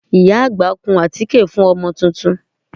Ìyá àgbà kun àtíkè fún ọmọ tuntun